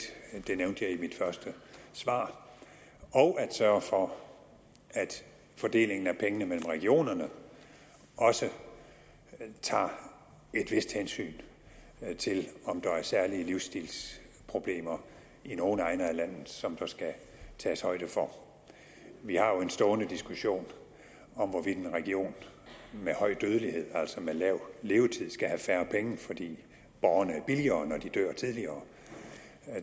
det nævnte jeg i mit første svar og at sørge for at fordelingen af pengene mellem regionerne også tager et vist hensyn til om der er særlige livsstilsproblemer i nogle egne af landet som der skal tages højde for vi har jo en stående diskussion om hvorvidt en region med høj dødelighed altså med lav levetid skal have færre penge fordi borgerne er billigere når de dør tidligere